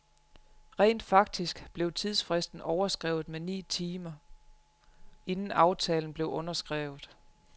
Rent faktisk blev tidsfristen overskrevet med ni timer, inden aftalen blev underskrevet.